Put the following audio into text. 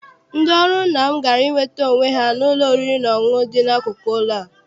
Ndị ọrụ nna m gara inweta onwe ha n'ụlọ oriri na ọṅụṅụ dị n'akụkụ ụlọ a.